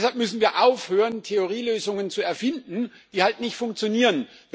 Deshalb müssen wir aufhören, Theorie Lösungen zu erfinden, die halt nicht funktionieren.